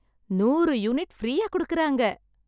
நூறு யூனிட் ஃப்ரீயா குடுக்குறாங்க